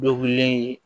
Dɔ wilileni